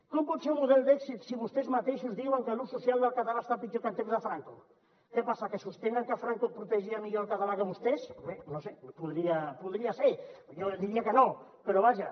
com pot ser un model d’èxit si vostès mateixos diuen que l’ús social del català està pitjor que en temps de franco què passa que sostenen que franco protegia millor el català que vostès bé no ho sé podria ser jo diria que no però vaja